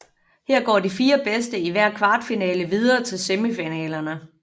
Her går de fire bedste i hver kvartfinale videre til semifinalerne